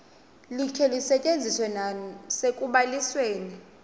likhe lisetyenziswe nasekubalisweni